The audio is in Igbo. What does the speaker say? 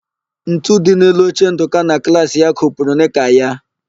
Ntu dị n'elu oche Ndụka na klaasị ya kopuru nịka ya.